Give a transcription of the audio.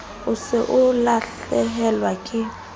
o se o lahlehelwa ke